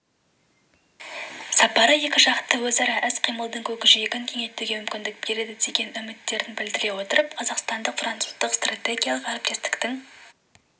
сапары екіжақты өзара іс-қимылдың көкжиегін кеңейтуге мүмкіндік береді деген үміттерін білдіре отырып қазақстандық-француздық стратегиялық әріптестіктің